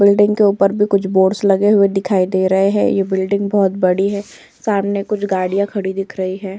Building के उप्पर भी कुछ बोर्ड्स लगे हुए दिखाई दे रहे है ये बिल्डिंग बहोत बड़ी है सामने कुछ गाडियां खड़ी दिख रही है।